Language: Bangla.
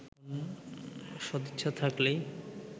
সদিচ্ছা থাকলেই